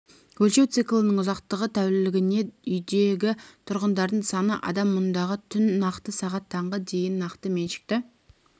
өлшеу циклінің ұзақтығы тәулігіне үйдегі тұрғындардың саны адам мұнда түн нақты сағат таңғы дейін нақты меншікті